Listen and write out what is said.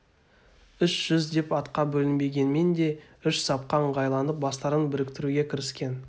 үш жүз деп атқа бөлінбегенмен де үш сапқа ыңғайланып бастарын біріктіруге кіріскен